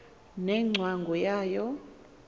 ne ngcwangu yayo